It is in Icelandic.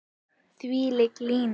Þvílík lína.